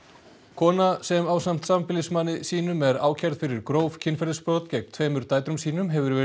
kona sem ásamt sambýlismanni sínum er ákærð fyrir gróf kynferðisbrot gegn tveimur dætrum sínum hefur verið